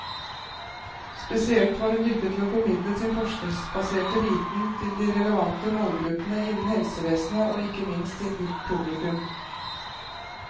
Spesielt var hun dyktig til å formidle sin forskningsbaserte viten til de relevante målgruppene innen helsevesenet, og ikke minst til publikum.